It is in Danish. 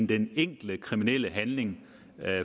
den enkelte kriminelle handling